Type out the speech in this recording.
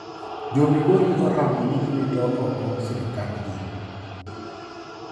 Jo migori oramo ni giwito oko sirkandgi